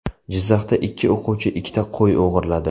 Jizzaxda ikki o‘quvchi ikkita qo‘y o‘g‘irladi.